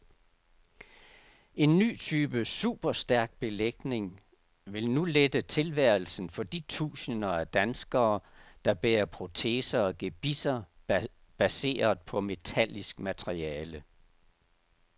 En ny type superstærk belægning vil nu lette tilværelsen for de tusinder af danskere, der bærer proteser og gebisser baseret på metallisk materiale.